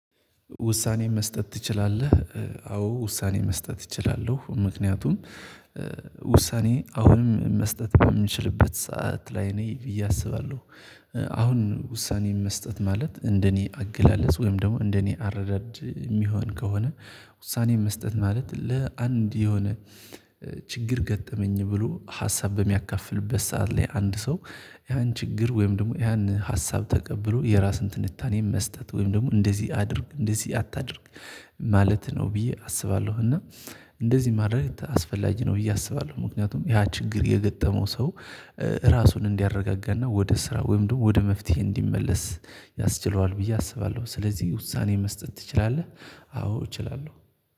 ውሳኔ መስጠት ትችላለህ አዎ ውሳኔ መስጠት እችላለሁ ምክንያቱም ውሳኔ አሁንም መስጠት የምንችልበት ሰዓት ላይ ነኝ ብዬ አስባለሁ። አሁን ውሳኔ መስጠት ማለት እንደኔ አገላለጽ ወይም ደግሞ እንደኔ አረዳድ የሚሆን ከሆነ። ውሳኔ መስጠት ማለት ለአንድ የሆነ ችግር ገጠመኝ ብሎ ሀሳብ በሚያካፍልበት ሰዓት ላይ አንድ ሰው ያን ችግር ወይም ደግሞ ያን ሀሳብ ተቀብሎ የራስን ትንታኔን መስጠት ወይም ደግሞ እንደዚህ አድርግ እንደዚህ አታድርግ። ማለት ነው ብዬ አስባለሁ። እና እንደዚህ ማድረግ አስፈላጊ ነው ብዬ አስባለሁ። ምክንያቱም ያ ችግር የገጠመው ሰው ራሱን እንዲያረጋጋና ወደ ስራ ወይም ደግሞ ወደ መፍትሄ እንዲመለስ ያስችለዋል ብዬ አስባለሁ። ስለዚህ ውሳኔ መስጠት ትችላለህ? አዎ እችላለሁ